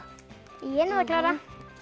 ég náði að klára